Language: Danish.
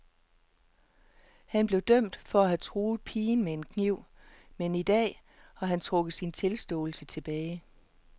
Han blev dømt for at have truet pigen med en kniv, men i dag har han trukket hele sin tilståelse tilbage.